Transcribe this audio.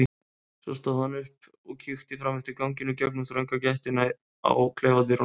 Svo stóð hann upp og kíkti fram eftir ganginum í gegnum þrönga gættina á klefadyrunum.